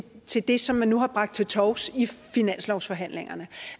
til det som man nu har bragt til torvs i finanslovsforhandlingerne